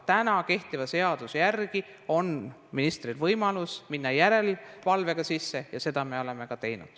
Aga kehtiva seaduse järgi on ministril võimalus minna järelevalvega sisse ja seda me oleme ka teinud.